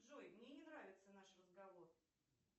джой мне не нравится наш разговор